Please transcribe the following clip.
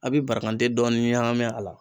A bɛ barakanden dɔɔnin ɲagami a la.